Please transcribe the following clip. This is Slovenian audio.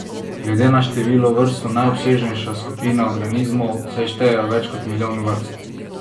Glede na število vrst so najobsežnejša skupina organizmov, saj štejejo več kot milijon vrst!